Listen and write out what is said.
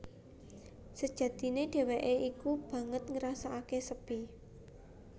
Sejatine dhéwéké iku banget ngrasakaké sepi